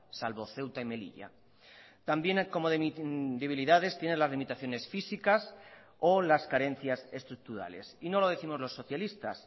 salvo ceuta y melilla también como debilidades tienen las limitaciones físicas o las carencias estructurales y no lo décimos los socialistas